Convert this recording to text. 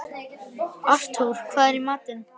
Artúr, hvað er í matinn?